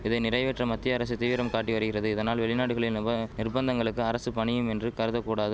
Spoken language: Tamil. இதை நிறைவேற்ற மத்திய அரசு தீவிரம் காட்டி வரிகிறது இதனால் வெளிநாடுகளி நிவ நிர்பந்தங்களுக்கு அரசு பணியுமின்று கருதகூடாது